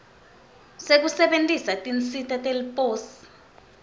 sekusebentisa tinsita teliposi